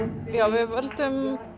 við völdum